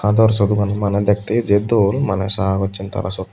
aador sorong hani manneh dekteoo jey dol manneh sagossen tara syot.